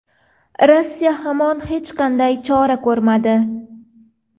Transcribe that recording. Rossiya hamon hech qanday chora ko‘rmadi.